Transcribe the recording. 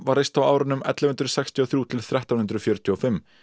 var reist á árunum ellefu hundruð sextíu og þriggja til þrettán hundruð fjörutíu og fimm